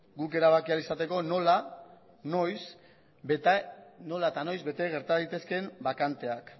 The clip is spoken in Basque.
guk erabaki ahal izateko nola eta noiz bete gerta daitezkeen bakanteak